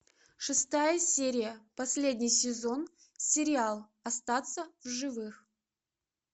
шестая серия последний сезон сериал остаться в живых